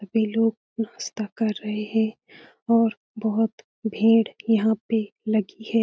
सभी लोग नाश्ता कर रहे हैं और बहोत भीड़ यहाँ पे लगी है।